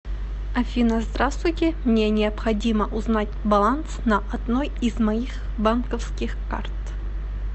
афина здравствуйте мне необходимо узнать баланс на одной из моих банковских карт